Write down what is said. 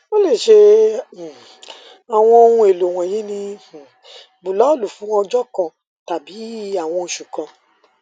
o le ṣe um awọn ohun elo wọnyi ni um bulọọlu fun ọjọ kan tabi awọn oṣu kan